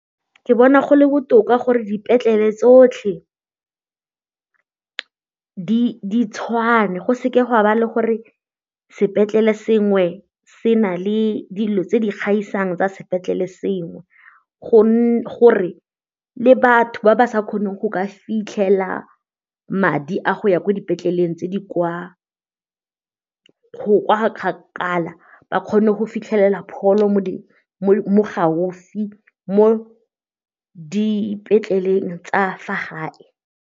Ke bona go le botoka gore dipetlele tsotlhe di tshwane go seke ga ba le gore sepetlele sengwe se na le dilo tse di gaisang tsa sepetlele sengwe gore le batho ba ba sa kgoneng go ka fitlhela madi a go ya ko dipetleleng tse di kwa kgakala ba kgone go fitlhelela mo gaufi mo dipetleleng tsa fa gae.